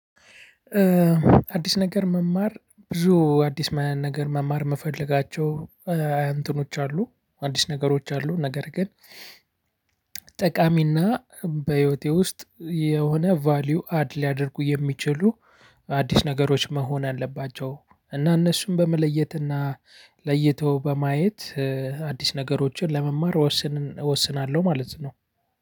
አዲስ ነገር መማር ብዙ አዲስ ነገር መማር ምፈለጋቸው እንትኖች አሉ አዲስ ነገሮች አሉ ነገር ግን ጠቃሚና በህይወቴ ውስጥ የሆነ ቫልዩ አድ ሊያደርጉ የሚችሉ አዲስ ነገሮች መሆን አለባቸው። እና እነሱን በመለየትና ለይቶ በማየት አዲስ ነገሮችን ለመማር ወስን እወስናለሁ ማለት ነው።